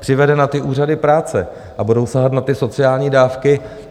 převede na ty úřady práce a budou sahat na ty sociální dávky.